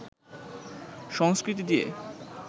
সংস্কৃতি দিয়ে